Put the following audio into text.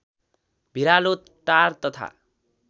भिरालो टार तथा